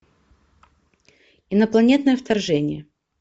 инопланетное вторжение